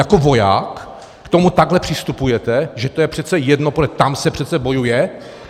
Jako voják k tomu takhle přistupujete, že to je přece jedno, protože tam se přece bojuje?